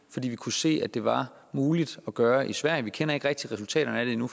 fordi vi kunne se at det var muligt at gøre det i sverige vi kender ikke rigtig resultaterne af det endnu